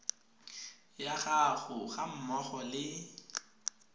ya gago ga mmogo le